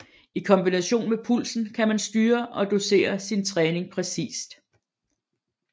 I kombination med pulsen kan man styre og dosere sin træning præcist